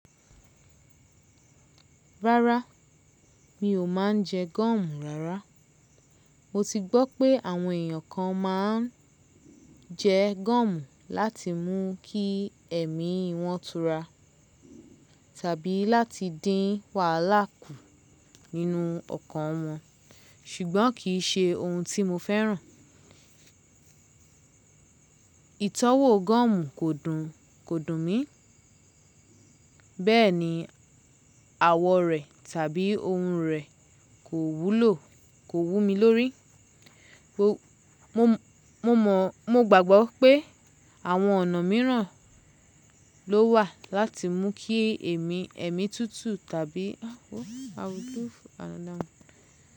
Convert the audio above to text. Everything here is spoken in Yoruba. Rárá, mi ò máa ń jẹ gọ́ọ̀mù rárá. Mo ti gbọ́ pé àwọn èèyàn kan máa ń jẹ gọ́ọ̀mù láti mú kí èémí wọn tura tàbí láti dín wàhálà kù nínú ọkàn wọn, ṣùgbọ́n kì í ṣe ohun tí mo fẹ́ràn. Ìtọ́wò gọ́ọ̀mù kò dùn, kò dùn mí. Bẹ́ẹ̀ ni àwọ̀ rẹ̀ tàbí ohùn rẹ̀ kò wú lo, kò wú mi lórí. Mo mọ̀, mo gbàgbọ́ pé àwọn ọ̀nà míràn ló wà láti mú kí èmi, èémí tútù tàbí.